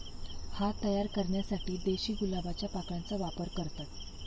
हा तयार करण्यासाठी देशी गुलाबाच्या पाकळ्यांचा वापर करतात.